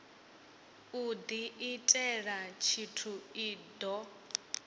u diitela tshithu i do